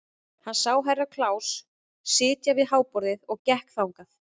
Hann sá Herra Kláus sitja við háborðið og gekk þangað.